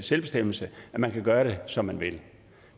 selvbestemmelse at man kan gøre det som man vil